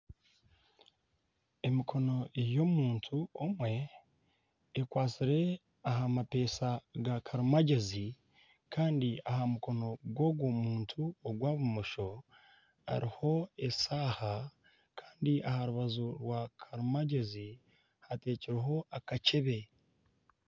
Emikono ey'omuntu omwe ekwatsire aha mapesha ga karimagyezi Kandi aha mukono gw'ogwo muntu ogwa bumosho hariho eshaaha Kandi aha rubaju rwa karimagyezi hateekireho akakyebe.